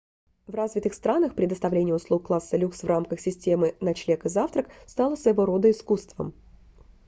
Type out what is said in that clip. в развитых странах предоставление услуг класса люкс в рамках системы ночлег и завтрак стало своего рода искусством